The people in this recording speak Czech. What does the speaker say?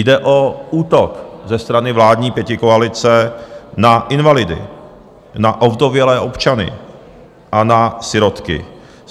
Jde o útok ze strany vládní pětikoalice na invalidy, na ovdovělé občany a na sirotky.